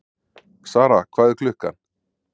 Sara, hvað er klukkan?